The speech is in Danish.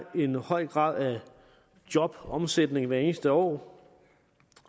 en høj grad af jobomsætning hvert eneste år